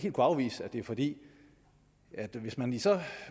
afvise det fordi hvis man i så